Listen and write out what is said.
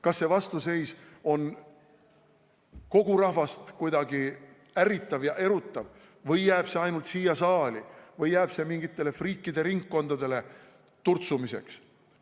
Kas see vastuseis on kogu rahvast kuidagi ärritav ja erutav või jääb see ainult siia saali või jääb see mingitele friikide ringkondadele turtsumiseks?